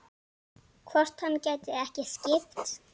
Hvort hann gæti ekki skipt?